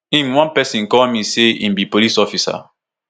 im one pesin call me say im be police officer